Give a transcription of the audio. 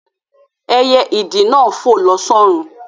Ẹyẹ ìdì náà fò lọ s'ọ́run